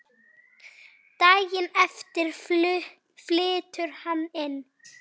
Daginn eftir flytur hann inn.